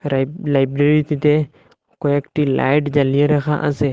লাইব লাইব্রেরিটিতে কয়েকটি লাইট জ্বালিয়ে রাখা আসে।